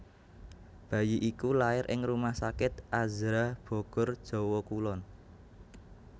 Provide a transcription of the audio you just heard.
Bayi iku lair ing rumah sakit Azhra Bogor Jawa Kulon